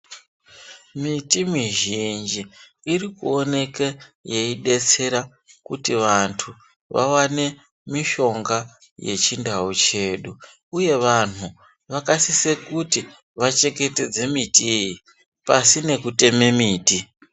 Miti mizhinji irikuoneke yeidetsera kuti vantu vawane mishonga yechindau chedu, uye vanhu vakasise kuti vachengetedze miti iyi. Pasi nekuteme miti.